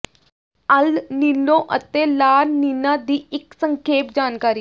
ਅਲ Nino ਅਤੇ La Nina ਦੀ ਇੱਕ ਸੰਖੇਪ ਜਾਣਕਾਰੀ